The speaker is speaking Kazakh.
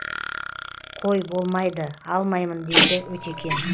қой болмайды алмаймын дейді өтекең